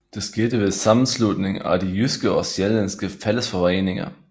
Det skete ved sammenslutningen af de jyske og sjællandske fællesforeninger